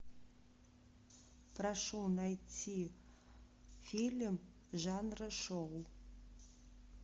прошу найти фильм жанра шоу